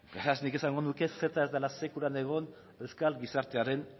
beraz nik esango nuke ceta ez dela sekulan egon euskal gizartearen